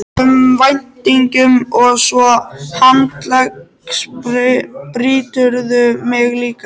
um væntingum og svo handleggsbrýturðu mig líka.